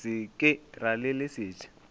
se ke ra le leset